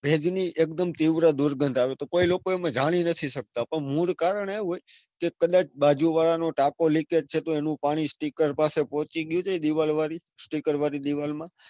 ભેજ ની એકદમ તીવ્ર દુર્ગંધ આવે તો કોઈ લોકો એમાં જાળી નથી સકતા. પણ મૂળ કારણ એવું હોય કે કદાચ બાજુવાળા નો ટાંકો લિકેજ છે તો એનું પાણી sticker પાસે પોચી ગયું છે. દીવાલ વાળી sticker વાળી દીવાલ માં,